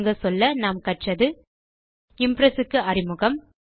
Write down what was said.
சுருங்கச்சொல்ல கற்றது இம்ப்ரெஸ் க்கு அறிமுகம்